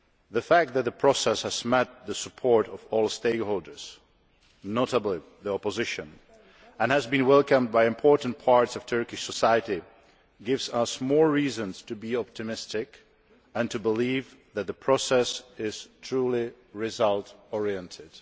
The fact that the process has met the support of all stakeholders, notably the opposition, and has been welcomed by important parts of Turkish society gives us more reasons to be optimistic and to believe that the process is truly result oriented.